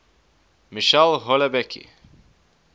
michel houellebecq